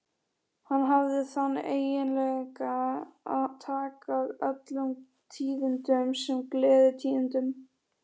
Hann hafði þann eiginleika að taka öllum tíðindum sem gleðitíðindum.